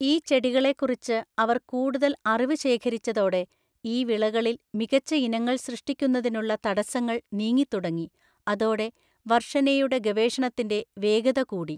ഈ ചെടികളെക്കുറിച്ച് അവർ കൂടുതൽ അറിവ് ശേഖരിച്ചതോടെ ഈ വിളകളിൽ മികച്ച ഇനങ്ങൾ സൃഷ്ടിക്കുന്നതിനുള്ള തടസ്സങ്ങൾ നീങ്ങിത്തുടങ്ങി അതോടെ വർഷനെയുടെ ഗവേഷണത്തിന്റെ വേഗത കൂടി.